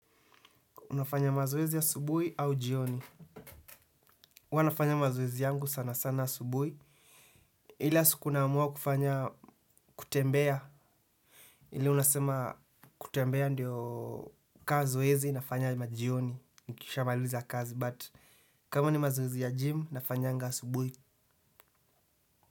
Unafanya mazoezi asubuhi au jioni? Huwa nafanya mazoezi yangu sana sana asubuhi. Ile siku naamua kufanya kutembea. Ile unasema kutembea ndio ka zoezi nafanya majioni. Nikisha maliza kazi but kama ni mazoezi ya gym nafanyanga subuhi.